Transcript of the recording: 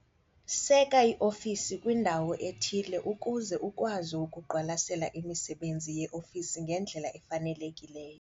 Seka iofisi kwindawo ethile ukuze ukwazi ukuqwalasela imisebenzi yeofisi ngendlela efanelekileyo.